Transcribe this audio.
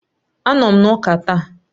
Anọ m na Ụka ​​taa.